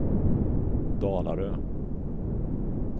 Dalarö